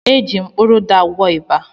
Eji m kpụrụ ụda akwọ ịba.